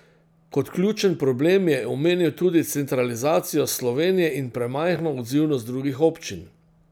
Kot ključen problem je omenil tudi centralizacijo Slovenije in premajhno odzivnost drugih občin.